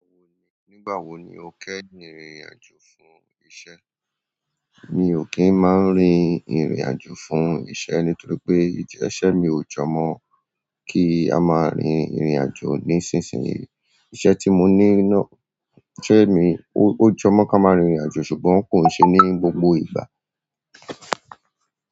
Nígbà wo ni o kẹ́yin rìn ìrìn àjò fún iṣẹ́? Mi ò kin máa rìn ìrìn àjò fún iṣẹ́ nitoripe ijẹ iṣẹ́ mi o jo mo kí a máa rìn ìrìn àjò nisin sinyi. Iṣẹ́ tí mo ní náà, iṣẹ́ mi ò jọ mọ́ ká máa rìn ìrìn àjò ṣùgbọ́n kò ń ṣe ní gbogbo ìgbà.